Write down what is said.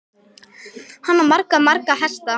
Hann á marga, marga hesta.